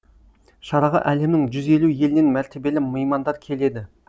шараға әлемнің жүз елу елінен мәртебелі меймандар келеді